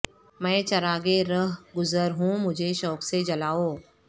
میں چراغ رہ گذر ہوں مجھے شوق سے جلاو